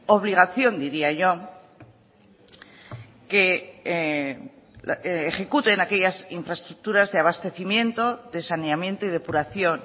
obligación diría yo que ejecuten aquellas infraestructuras de abastecimiento de saneamiento y depuración